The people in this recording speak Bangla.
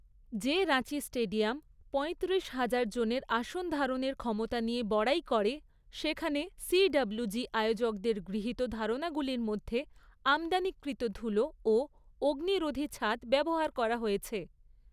যে রাঁচি স্টেডিয়াম পঁয়ত্রিশ হাজারজনের আসন ধারনের ক্ষমতা নিয়ে বড়াই করে, সেখানে সিডবলুজি আয়োজকদের গৃহিত ধারণাগুলির মধ্যে আমদানিকৃত, ধুলো ও অগ্নিরোধী ছাদ ব্যবহার করা হয়েছে।